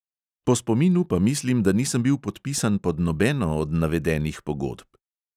Po spominu pa mislim, da nisem bil podpisan pod nobeno od navedenih pogodb.